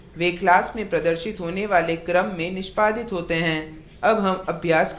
इस मामले में वे class में प्रदर्शित होने वाले क्रम में निष्पादित होते हैं